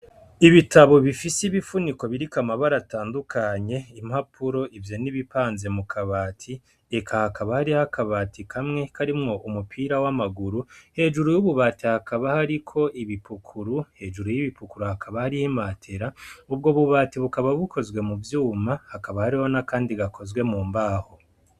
Ibitabo bifise ibifuniko biriko amabara atandukanye impapuro ivyo n'ibipanze mu kabati eka hakaba hari ho akabati kamwe karimwo umupira w'amaguru hejuru y'ububati hakaba hariko ibipukuru hejuru y'ibipukuru hakaba hariho imatera ubwo bubati bukaba bukozwe mu vyuma hakaba hariho na, kandi gakozwe mu mbaho.